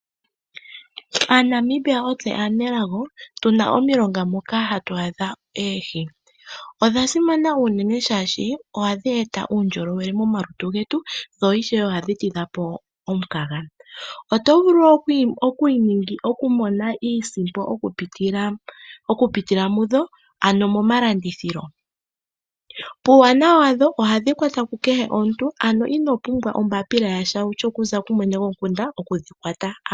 AaNamibia ontseyo aanelago molwaashoka otuna omilonga moka hatu adhamo oohi . Odha simana uunene shaashi ohadhi eta uundjolowele momalutu getu , dho ishewe ohadhi todhapo omukaga . Otovulu okumona iisimpo okupitila mudho ano momalandithilo. Puuwanawa wadho ohadhi kwatwa kukehe omuntu ,ano ino pumbwa oombapila yasha kutya okumwene gomukunda okudhi kwata.